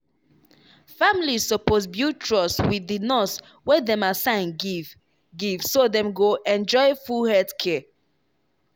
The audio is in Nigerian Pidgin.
families suppose build trust wit di nurse wey dem assign give give so dem go enjoy full health care.